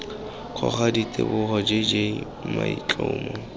ngoka ditsibogo j j maitlhomo